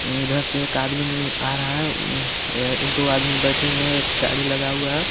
उधर से एक आदमीन आ रहा हे अं अ दो आदमिन बैठे हुई हे एक गाडी लगा हुआ हे.